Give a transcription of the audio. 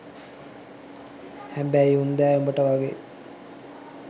හැබැයි උන් දැ උඹට වගේ